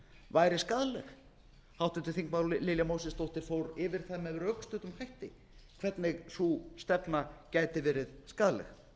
væri skaðleg háttvirtir þingmenn lilja mósesdóttir fór yfir það með rökstuddum hætti hvernig sú stefna gæti verið skaðleg